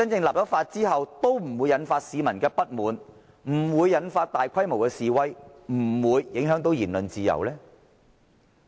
立法後是否不會引發市民不滿、不會引發大規模示威，以及不會影響言論自由呢？